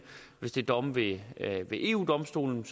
hvis det er domme ved eu domstolen